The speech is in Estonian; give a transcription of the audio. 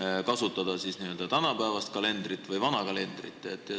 lähtuda tänapäevasest kalendrist või vanast kalendrist.